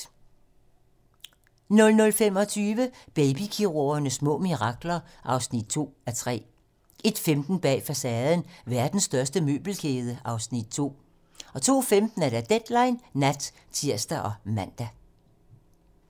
00:25: Baby-kirurgernes små mirakler (2:3) 01:15: Bag facaden: Verdens største møbelkæde (Afs. 2) 02:15: Deadline nat (tir og man)